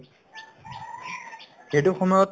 সেইটো সময়ত